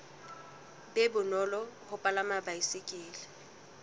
be bonolo ho palama baesekele